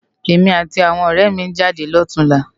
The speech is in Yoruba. Emi áti áwòn òrè mi n jádé lòtúnlá